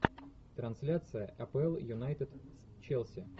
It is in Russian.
трансляция апл юнайтед челси